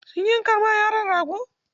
Sun yanka ma yaron rago?